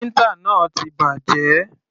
Printer náà ti bàjẹ́.